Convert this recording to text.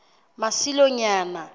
masilonyana